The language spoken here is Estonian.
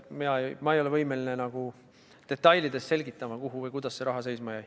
Ma ei ole võimeline detailides selgitama, kuhu või kuidas see raha seisma jäi.